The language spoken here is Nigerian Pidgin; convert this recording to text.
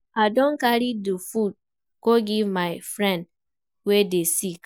I don carry di food go give my friend wey dey sick.